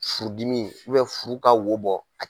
Furudimi furu ka wo bɔ.